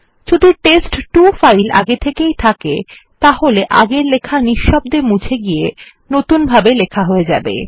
যদি test two file আগে থেকেই থাকে তাহলে আগের লেখা নিঃশব্দে মুছে গিয়ে নতুনভাবে লেখা হয়ে যাবে